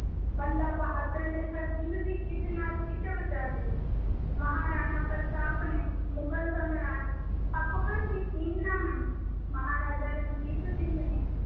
ਬੰਦਾ ਬਹਾਦਰ ਨੇ ਸਰਹੰਦ ਦੀ ਇੱਟ ਨਾਲ ਇੱਟ ਵਜਾ ਦਿੱਤੀ ਮਹਾਰਾਣਾ ਪ੍ਰਤਾਪ ਨੇ ਮੁਗਲ ਸਾਮਰਾਜ ਅਕਬਰ ਦੀ ਕੀਲ ਨਾ ਮੰਨੀ ਮਹਾਰਾਜਾ ਰਣਜੀਤ ਸਿੰਘ ਨੇ